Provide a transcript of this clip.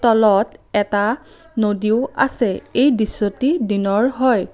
তলত এটা নদীও আছে এই দৃশ্যটি দিনৰ হয়।